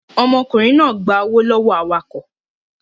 Ọmọkùnrin náà gba owó lọ́wọ́ awakọ̀